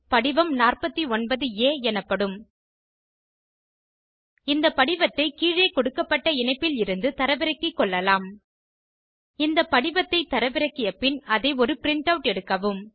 படிவம் 49ஆ எனப்படும் இந்த படிவத்தை கீழே கொடுக்கப்பட்ட இணைப்பிலிருந்து தரவிறக்கி கொள்ளலாம் இந்த படிவத்தை தரவிறக்கிய பின் அதை ஒரு ப்ரிண்ட் அவுட் எடுக்கவும்